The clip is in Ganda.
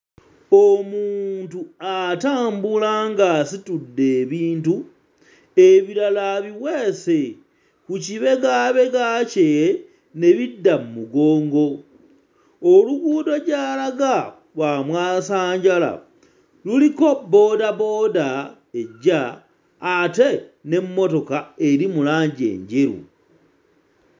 Omuntu atambula ng'asitudde ebintu ebirala abiweese ku kibegaabega kye ne bidda mmugongo, oluguudo gy'alaga lwa mwasanjala, luliko boodabooda ejja ate n'emmotoka eri mu langi enjeru.